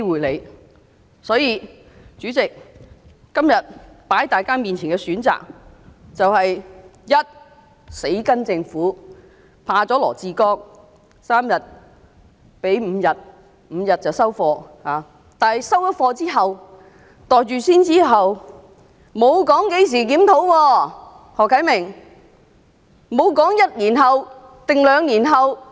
代理主席，今天放在大家眼前的選擇就是：第一，跟從政府，怕了羅致光局長 ，3 天增至5天便收貨，但"收貨"、"袋住先"之後，沒有提到會在何時作檢討。